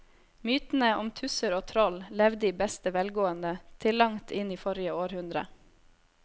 Mytene om tusser og troll levde i beste velgående til langt inn i forrige århundre.